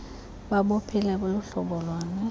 babuphile luhlobo luni